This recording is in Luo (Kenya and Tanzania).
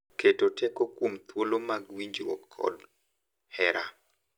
Keto teko kuom thuolo mag winjruok kod hera